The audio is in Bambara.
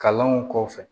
Kalanw kɔfɛ